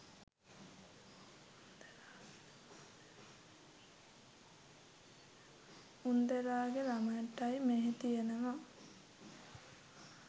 උන්දලාගේ ළමයින්ටයි මෙහෙතියෙනවා